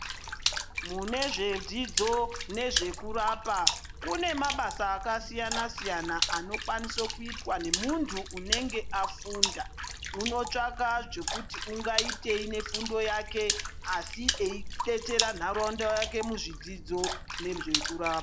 Mune zvedzidzo nezvekurapa kune mabasa akasiyana-siyana anokwaniso kuitwa nemunhu unenge afunda. Unotsvaka zvekuti ungaitei nefundo yake asi eidetseta ntaraunda yake nezvedzidzo nezvekurapa.